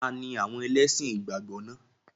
Ta ni àwọn ẹlẹ́sìn ìgbàgbọ́ náà?